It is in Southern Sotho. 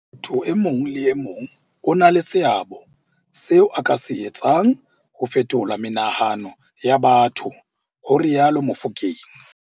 Motho e mong le e mong o na le seabo seo a ka se etsang ho fetola menahano ya batho, ho rialo Mofokeng.